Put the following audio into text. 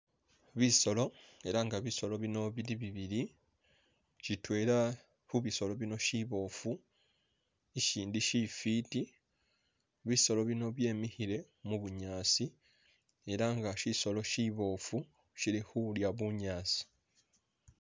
Bisoolo elah nga bisoolo bino bili bibili sitwela khubisolo bino shiboofu ishindu shifiti bisoolo bino byemikhile mu'bunyaasi elah nga shisolo shiboofu shili khulya bunyaasi